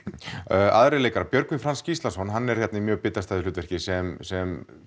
já aðrir leikarar Björgvin Franz Gíslason hann er hérna í mjög bitastæðu hlutverki sem sem